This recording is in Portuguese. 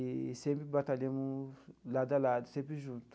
E sempre batalhamos lado a lado, sempre juntos.